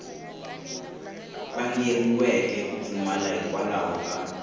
vangeriweke ku pfumala hikwalaho ka